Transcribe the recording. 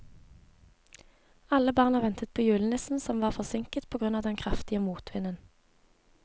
Alle barna ventet på julenissen, som var forsinket på grunn av den kraftige motvinden.